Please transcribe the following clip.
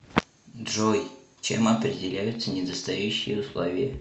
джой чем определяются недостающие условия